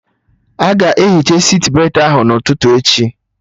Aga ehicha sitbetị ahụ n'ụtụtụ echi